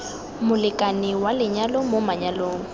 molekane wa lenyalo mo manyalong